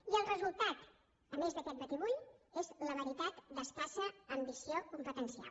i el resultat a més d’aquest batibull és la veritat d’escassa ambició competencial